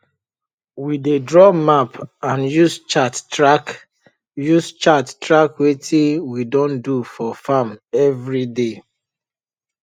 we dey draw map and use chart track use chart track wetin we don do for farm everyday